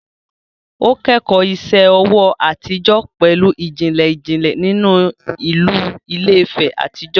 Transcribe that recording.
Ó kẹ́kọ̀ọ́ iṣẹ́ ọwọ́ àtijọ́ pẹ̀lú ìjìnlẹ̀ ìjìnlẹ̀ nínú ìlú Ilé-Ife àtijọ́